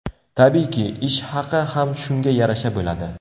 Tabiiyki, ish haqi ham shunga yarasha bo‘ladi.